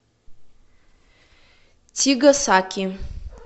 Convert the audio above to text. тигасаки